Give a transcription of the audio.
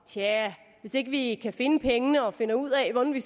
tja hvis ikke vi kan finde pengene og finder ud af hvordan vi